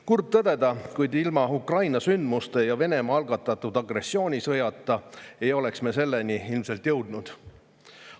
Kurb tõdeda, kuid ilma Ukraina sündmuste ja Venemaa algatatud agressioonisõjata ei oleks me selleni ilmselt jõudnud.